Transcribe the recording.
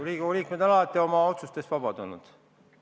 Riigikogu liikmed on alati oma otsustes vabad olnud.